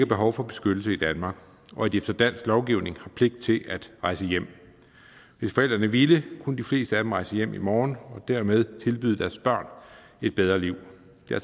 behov for beskyttelse i danmark og at de efter dansk lovgivning har pligt til at rejse hjem hvis forældrene ville kunne de fleste af dem rejse hjem i morgen og dermed tilbyde deres børn et bedre liv det er